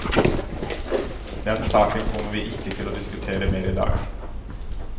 Den saken kommer vi ikke til å diskutere mer i dag.